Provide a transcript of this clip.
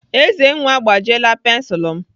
Ezenwa agbajiela pensilu m.